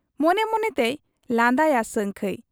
ᱢᱚᱱᱮ ᱢᱚᱱᱮᱛᱮᱭ ᱞᱟᱸᱫᱟᱭᱟ ᱥᱟᱹᱝᱠᱷᱟᱹᱭ ᱾